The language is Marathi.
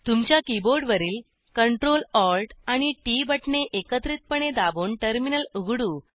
तुमच्या कीबोर्डवरील Ctrl Alt आणि टीटी बटणे एकत्रिपणे दाबून टर्मिनल उघडू